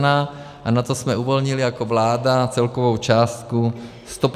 Na to jsme uvolnili jako vláda celkovou částku 155 mil.